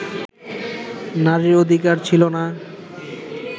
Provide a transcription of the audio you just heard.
নারীর অধিকার ছিল না